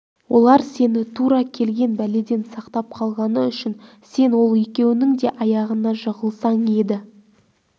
олар сені тура келген бәледен сақтап қалғаны үшін сен ол екеуінің де аяғына жығылсаң еді